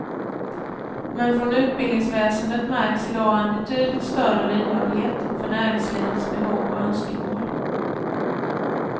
Men från utbildningsväsendet märks i dag en betydligt större lyhördhet för näringslivets behov och önskemål.